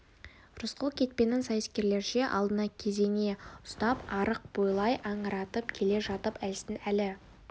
рысқұл кетпенін сайыскерлерше алдына кезене ұстап арық бойлай аңыратып келе жатып әлсін-әлі